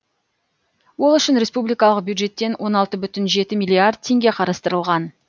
ол үшін республикалық бюджеттен он алты бүтін жеті миллиард теңге қарастырылған